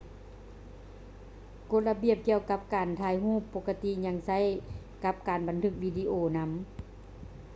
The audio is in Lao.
ກົດລະບຽບກ່ຽວກັບການຖ່າຍຮູບປົກກະຕິຍັງໃຊ້ກັບການບັນທຶກວິດີໂອນໍາ